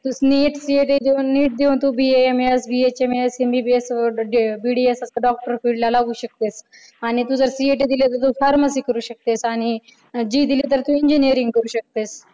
NEET, CET देऊन तू B A M S, B H M S, M B B S, B D S असं doctor field ला लागू शकतेस आणि तू जर CET दिली तर तू pharmacy करू शकतेस आणि JEE दिली तर तू engineering करू शकतेस